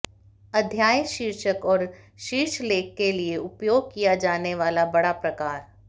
अध्याय शीर्षक और शीर्षलेख के लिए उपयोग किया जाने वाला बड़ा प्रकार